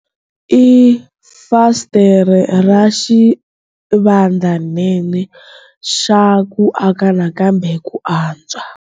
i fasitere ra xivandlanene xa ku aka nakambe ku antswa.